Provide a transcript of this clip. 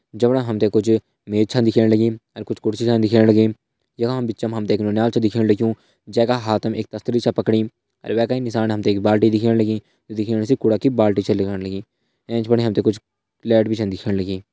जमणा हम त कुछ मेज च दिखेण लगीं कुछ कुर्सी दिखेण लगीं यखमा बिच मा एक नौनियाल छ दिखेण लग्युं जैका हाथ मा एक तस्तरि छ पकड़ीं वैका ही एक बाल्टी दिखेण लगींजू दिखेण से कूड़ा की बाल्टी छ लगण लगीं। एंच बिटि हम त कुछ लाइट भी दिखेण लगीं।